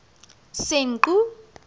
senqu